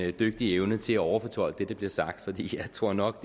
en dygtig evne til at overfortolke det der blev sagt fordi jeg tror nok